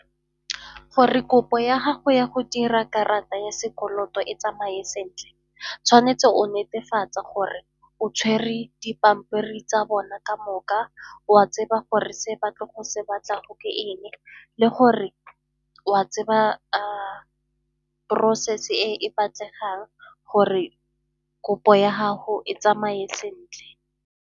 Gore kopo ya gago ya go dira karata ya sekoloto e tsamaye sentle, tshwanetse o netefatse gore o tshwere dipampiri tsa bona ka moka, o a tseba gore se batla go se batlago ke eng le gore o a tseba process-e e e batlegang gore kopo ya gago e tsamaye sentle.